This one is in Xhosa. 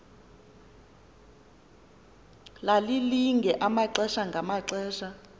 lalilinge amaxesha ngamaxesha